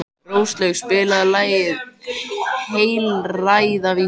Róslaug, spilaðu lagið „Heilræðavísur“.